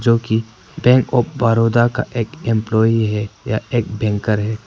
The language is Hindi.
जो की बैंक ऑफ बड़ौदा का एक एम्पलाई है या एक बैंकर है।